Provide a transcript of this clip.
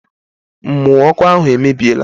Mmụ ọkụ ahụ emebiela